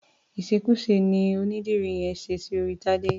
Ìṣekúṣe ni onídìrí yẹn ṣe sí orí Tadé.